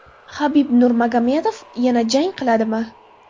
Habib Nurmagomedov yana jang qiladimi?